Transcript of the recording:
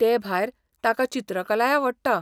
तेभायर, ताका चित्रकलाय आवडटा.